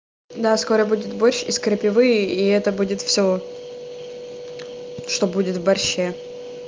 да скоро будет борщ из крапивы и это будет всё что будет в борще